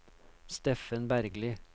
Steffen Bergli